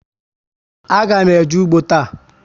A ga m eje ụgbọ taa